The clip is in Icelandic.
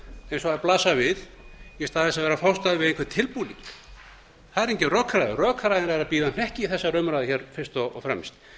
og þær blasa við í stað þess að vera að fást við einhvern tilbúning það er engin rökræða rökræðan er að bíða hnekki í þessari umræðu fyrst og fremst